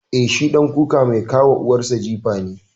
Eh, shi ɗan kuka mai ka wa uwar sa jifa ne.